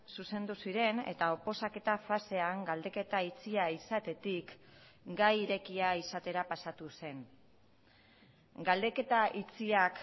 zuzendu ziren eta oposaketa fasean galdeketa itxia izatetik gai irekia izatera pasatu zen galdeketa itxiak